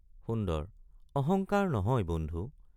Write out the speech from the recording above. সুন্দৰ—অহঙ্কাৰ নহয় বন্ধু।